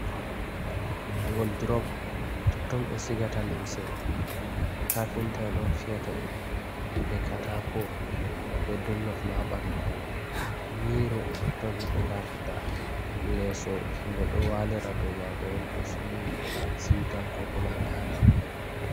Woldurop totton ɓe sigata lemse, kafinta'on fiyata ɗum be Katako be dollofma ha ɓandu man. Miiro totton himɓe lartata, leeso himɓe ɗou walira do maago'on to somi siutan kokuma ɗaanan.